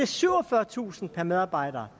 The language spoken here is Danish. syvogfyrretusind per medarbejder